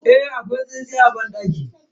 Eh, akwai tsintsiya a banɗakin.